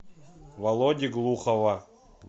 володи глухова